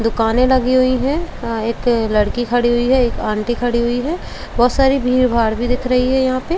दुकाने लगी हुई है। एक लड़की खड़ी हुई है। एक आंटी खड़ी हुई है। बहोत सारी भीड़ भाड़ भी दिख रही है यहाँ पे ।